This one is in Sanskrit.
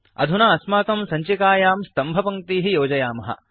अधुना अस्माकं सञ्चिकायां स्तम्भपङ्क्तीः योजयामः